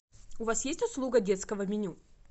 у вас есть услуга детского меню